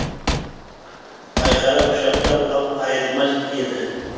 айқара құшақтап ап айырылмас еді